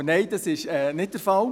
Aber nein, das ist nicht der Fall.